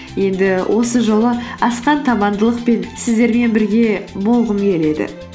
енді осы жолы асқан табандылықпен сіздермен бірге болғым келеді